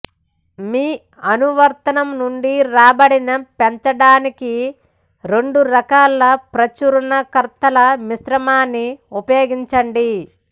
మీ అనువర్తనం నుండి రాబడిని పెంచడానికి రెండు రకాల ప్రచురణకర్తల మిశ్రమాన్ని ఉపయోగించండి